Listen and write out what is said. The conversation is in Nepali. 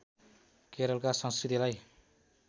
केरलका संस्कृतिलाई